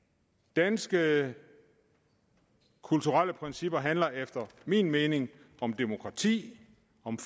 danske kulturelle principper handler efter min mening om demokrati